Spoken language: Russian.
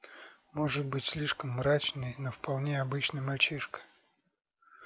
может быть слишком мрачный но вполне обычный мальчишка